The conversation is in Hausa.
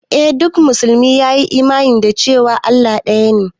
Eh duk musulmi ya yi imani da cewa Allah ɗaya ne